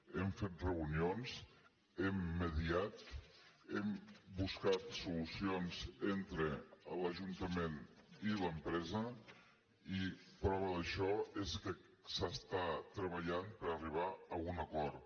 hem fet reunions hem mediat hem buscat solucions entre l’ajuntament i l’empresa i prova d’això és que s’està treballant per arribar a un acord